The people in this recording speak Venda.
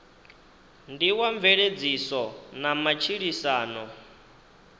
ndi wa mveledziso na matshilisano